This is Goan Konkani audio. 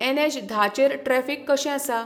ऍन ऍच धा चेर ट्रॅफिक कशें आसा?